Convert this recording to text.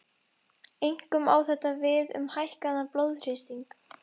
Einkum á þetta við um hækkaðan blóðþrýsting.